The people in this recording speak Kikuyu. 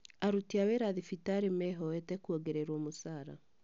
Aruti a wĩra thibitarĩ mehoete kuongererwo mũcara